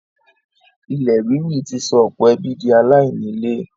ilẹ̀ ríri ti sọ ọ̀pọ̀ ẹbí di aláìní ilé.